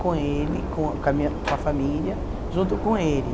com ele, com com a minha com a família, junto com ele.